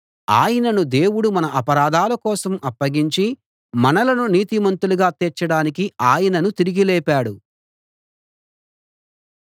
ఆయనను దేవుడు మన అపరాధాల కోసం అప్పగించి మనలను నీతిమంతులుగా తీర్చడానికి ఆయనను తిరిగి లేపాడు